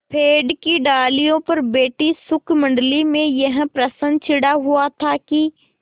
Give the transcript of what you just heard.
पेड़ की डालियों पर बैठी शुकमंडली में यह प्रश्न छिड़ा हुआ था कि